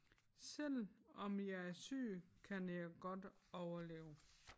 Selvom jeg er syg kan jeg godt overleve